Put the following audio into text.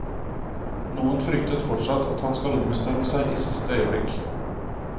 Noen frykter fortsatt at han skal ombestemme seg i siste øyeblikk.